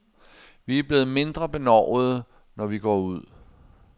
Vi er blevet mindre benovede, når vi går ud.